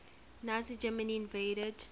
nazi germany invaded